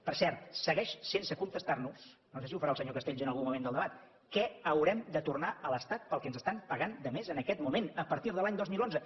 per cert segueix sense contestar nos no sé si ho farà el senyor castells en algun moment del debat què haurem de tornar a l’estat pel que ens estan pagant de més en aquest moment a partir de l’any dos mil onze